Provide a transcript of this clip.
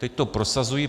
Teď to prosazují.